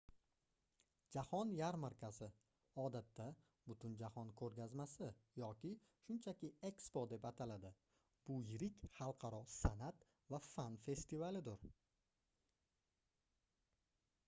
jahon yarmarkasi odatda butunjahon ko'rgazmasi yoki shunchaki ekspo deb ataladi — bu yirik xalqaro san'at va fan festivalidir